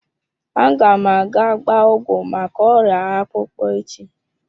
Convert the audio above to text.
Aga m aga gbaa ọgwụ maka oria akpukpo echi.